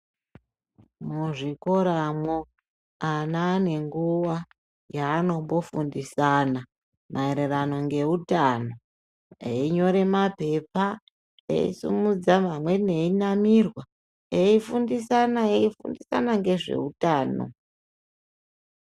Muzvikoramwo ana ane nguwa yanombogindisana maererano einyora mapepa eisumudza amweni eirwara eifundisana nezve hutano.